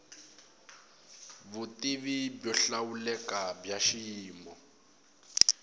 vutivi byo hlawuleka bya xiyimo